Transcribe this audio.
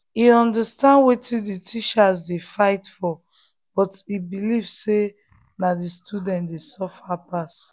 e understand wetin the teachers dey fight for but e believe say na the students dey suffer pass.